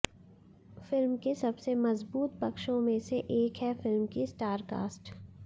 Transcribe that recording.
film के सबसे मजबूत पक्षों में से एक है फिल्म की स्टारकास्ट